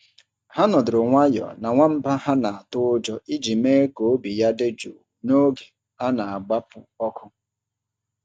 Ha nọdụrụ nwayọọ na nwamba ha na-atụ ụjọ iji mee ka obi ya dị jụụ n’oge a na-agbapụ ọkụ.